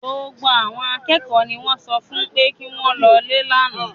Gbogbo àwọn akẹ́kọ̀ọ́ ni wọ́n sọ fún pé kí wọ́n lọlé lánàá